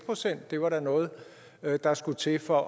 procent da var noget der skulle til for